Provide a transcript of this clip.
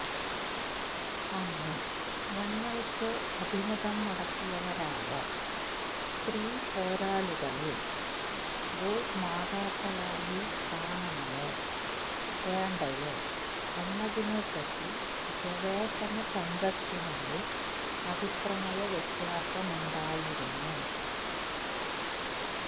അന്ന് ഞങ്ങൾക്ക് അഭിമുഖം നടത്തിയവരായ സ്ത്രീപോരാളികളെ ഭൂമാതാക്കളായി കാണണമോ വേണ്ടയോ എന്നതിനെപ്പറ്റി ഗവേഷണ സംഘത്തിനുള്ളിൽ അഭിപ്രായ വ്യത്യാസമുണ്ടായിരുന്നു